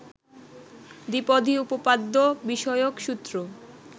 দ্বিপদী উপপাদ্য বিষয়ক সূত্র